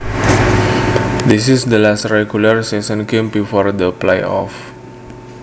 This is the last regular season game before the playoffs